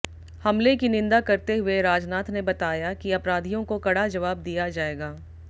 हमले की निंदा करते हुए राजनाथ ने बताया कि अपराधियों को कड़ा जवाब दिया जाएगा